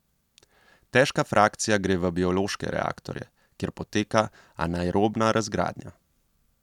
Težka frakcija gre v biološke reaktorje, kjer poteka anaerobna razgradnja.